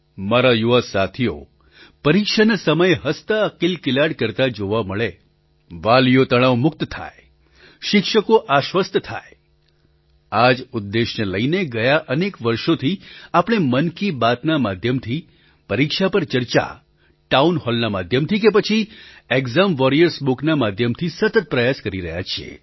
મારા યુવા સાથીઓ પરીક્ષાના સમયે હસતાંકિલકિલાટ કરતાં જોવા મળે વાલીઓ તણાવમુક્ત થાય શિક્ષકો આશ્વસ્ત થાય આ જ ઉદ્દેશ્યને લઈને ગયાં અનેક વર્ષોથી આપણે મન કી બાતના માધ્યમથી પરીક્ષા પર ચર્ચા ટાઉન હૉલના માધ્યમથી કે પછી એક્ઝામ વૉરિયર્સ બુકના માધ્યમથી સતત પ્રયાસ કરી રહ્યા છીએ